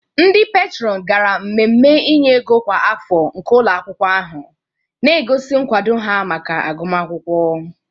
Ndị peetron gara mmemme inye ego kwa afọ nke ụlọ akwụkwọ ahụ, na-egosi nkwado ha maka agụmakwụkwọ.